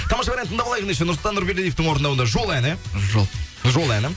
тамаша бір ән тыңдап алайық ендеше нұрсұлтан нұрбердиевтің орындауында жол әні жол жол әні